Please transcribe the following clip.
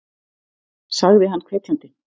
sagði hann hvetjandi.